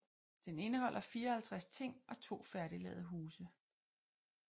Den indeholder 54 ting og to færdiglavede huse